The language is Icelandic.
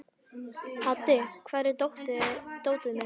Haddi, hvar er dótið mitt?